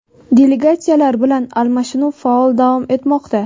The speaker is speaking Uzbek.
delegatsiyalar bilan almashinuv faol davom etmoqda.